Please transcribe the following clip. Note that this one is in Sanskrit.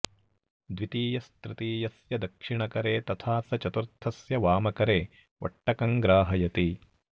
द्वितीयस्तृतीयस्य दक्षिणकरे तथा स चतुर्थस्य वामकरे वट्टकं ग्राहयति